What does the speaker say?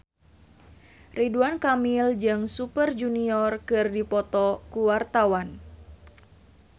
Ridwan Kamil jeung Super Junior keur dipoto ku wartawan